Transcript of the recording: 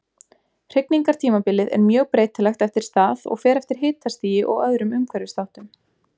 Hrygningartímabilið er mjög breytilegt eftir stað og fer eftir hitastigi og öðrum umhverfisþáttum.